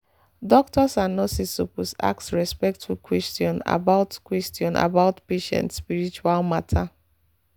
doctors and nurses suppose ask respectful question about question about patient spiritual matter.